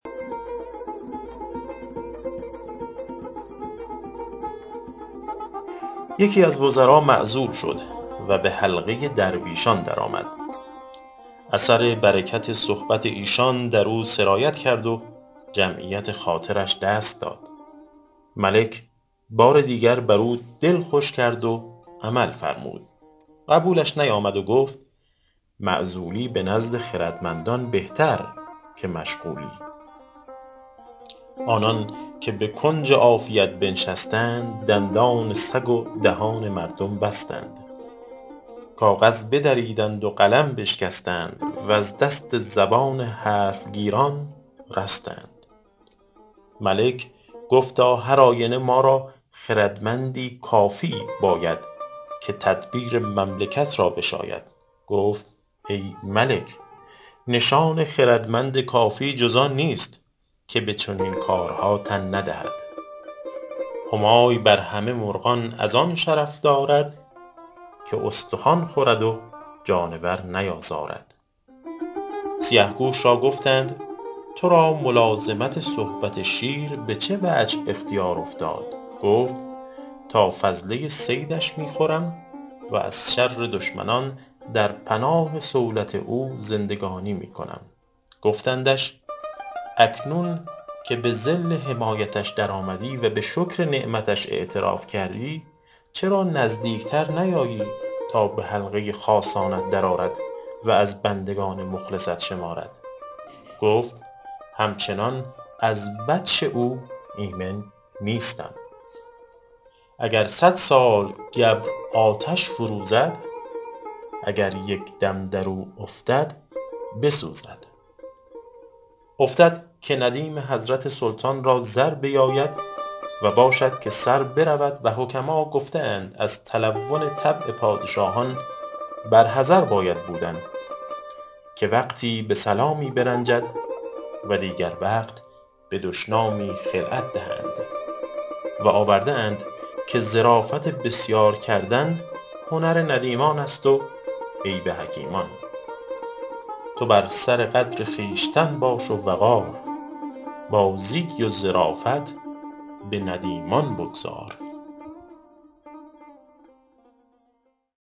یکی از وزرا معزول شد و به حلقه درویشان درآمد اثر برکت صحبت ایشان در او سرایت کرد و جمعیت خاطرش دست داد ملک بار دیگر بر او دل خوش کرد و عمل فرمود قبولش نیامد و گفت معزولی به نزد خردمندان بهتر که مشغولی آنان که به کنج عافیت بنشستند دندان سگ و دهان مردم بستند کاغذ بدریدند و قلم بشکستند وز دست زبان حرف گیران رستند ملک گفتا هر آینه ما را خردمندی کافی باید که تدبیر مملکت را بشاید گفت ای ملک نشان خردمند کافی جز آن نیست که به چنین کارها تن ندهد همای بر همه مرغان از آن شرف دارد که استخوان خورد و جانور نیازارد سیه گوش را گفتند تو را ملازمت صحبت شیر به چه وجه اختیار افتاد گفت تا فضله صیدش می خورم و ز شر دشمنان در پناه صولت او زندگانی می کنم گفتندش اکنون که به ظل حمایتش در آمدی و به شکر نعمتش اعتراف کردی چرا نزدیک تر نیایی تا به حلقه خاصانت در آرد و از بندگان مخلصت شمارد گفت همچنان از بطش او ایمن نیستم اگر صد سال گبر آتش فروزد اگر یک دم در او افتد بسوزد افتد که ندیم حضرت سلطان را زر بیاید و باشد که سر برود و حکما گفته اند از تلون طبع پادشاهان بر حذر باید بودن که وقتی به سلامی برنجند و دیگر وقت به دشنامی خلعت دهند و آورده اند که ظرافت بسیار کردن هنر ندیمان است و عیب حکیمان تو بر سر قدر خویشتن باش و وقار بازی و ظرافت به ندیمان بگذار